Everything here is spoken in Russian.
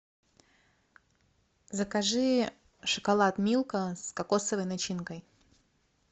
закажи шоколад милка с кокосовой начинкой